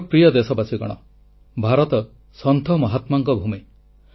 ମୋର ପ୍ରିୟ ଦେଶବାସୀଗଣ ଭାରତ ସନ୍ଥ ମହାତ୍ମାଙ୍କ ଭୂମି